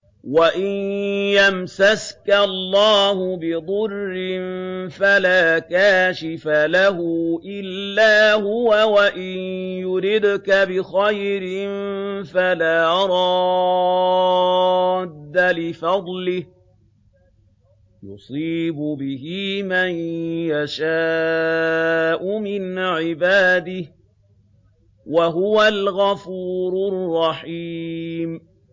وَإِن يَمْسَسْكَ اللَّهُ بِضُرٍّ فَلَا كَاشِفَ لَهُ إِلَّا هُوَ ۖ وَإِن يُرِدْكَ بِخَيْرٍ فَلَا رَادَّ لِفَضْلِهِ ۚ يُصِيبُ بِهِ مَن يَشَاءُ مِنْ عِبَادِهِ ۚ وَهُوَ الْغَفُورُ الرَّحِيمُ